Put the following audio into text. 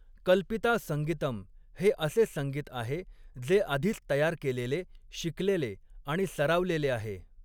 कल्पिता संगीतम हे असे संगीत आहे, जे आधीच तयार केलेले, शिकलेले आणि सरावलेले आहे.